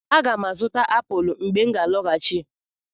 Aga m azụta apụl mgbe m ga-alọghachi.